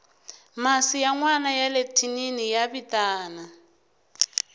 masi ya nwana yale thinini ya vitana